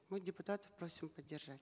мы депутатов просим поддержать